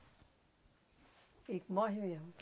E morre mesmo